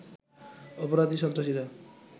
অপরাধী, সন্ত্রাসীরা